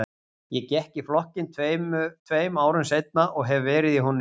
Ég gekk í flokkinn tveim árum seinna og hef verið í honum síðan.